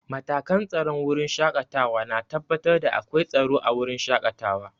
Matakan tsaron wurin shaƙatawa na tabbatar da akwai tsaro a wurin shaƙatawa.